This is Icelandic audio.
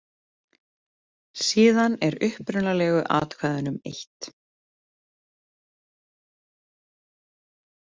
Síðan er upprunalegu atkvæðunum eytt.